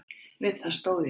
Við það stóð ég.